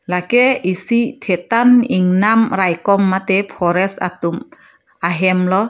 lake isi the tan ingnam raikom mate forest atum ahem lo.